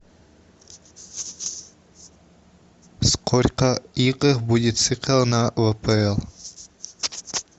сколько игр будет сыграно в апл